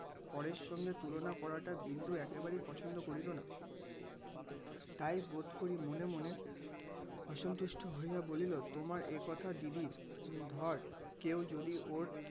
পরের সঙ্গে তুলনা করাটা বিন্দু একেবারেই পছন্দ করিত না. তাই বোধ করি মনে মনে অসন্তুষ্ট হইয়া বলিল তোমার এ কথা দিদি ধর কেউ যদি ওর